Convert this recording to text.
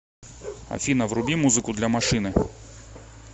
афина вруби музыку для машины